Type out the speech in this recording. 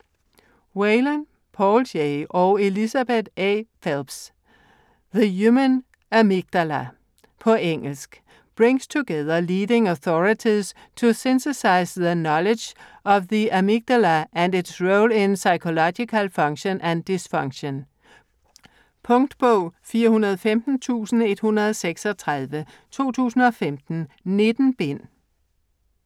Whalen, Paul J. og Elizabeth A. Phelps: The human amygdala På engelsk. Brings together leading authorities to synthesize the knowledge on the amygdala and its role in psychological function and dysfunction. Punktbog 415136 2015. 19 bind.